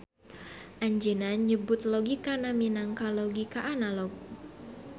Anjeuna nyebut logikana minangka logika analog.